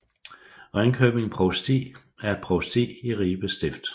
Ringkøbing Provsti er et provsti i Ribe Stift